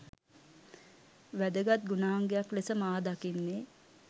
වැදගත් ගුණාංගයක් ලෙස මා දකින්නේ